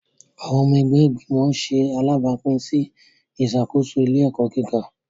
Awọn ọmọ ẹgbẹ́ igbimọ ṣe alabapin sí ìṣàkóso ilé-ẹkọ gíga